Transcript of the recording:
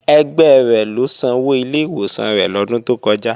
Ẹgbẹ́ rẹ̀ ló sanwó ilé ìwòsàn rẹ̀ lọ́dún tó kọjá